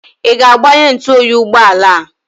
Ị ga-agbanye ntụoyi ụgbọala a?